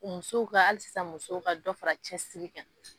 Musow ka ali sisan musow ka dɔ fara cɛ siri kan